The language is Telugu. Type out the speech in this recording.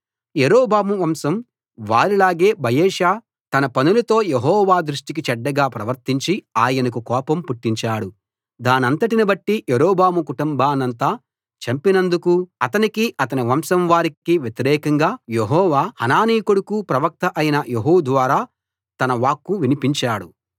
యరొబాము వంశం వారిలాగే బయెషా తన పనులతో యెహోవా దృష్టికి చెడ్డగా ప్రవర్తించి ఆయనకు కోపం పుట్టించాడు దానంతటిని బట్టి యరొబాము కుటుంబాన్నంతా చంపినందుకూ అతనికీ అతని వంశం వారికీ వ్యతిరేకంగా యెహోవా హనానీ కొడుకు ప్రవక్త అయిన యెహూ ద్వారా తన వాక్కు వినిపించాడు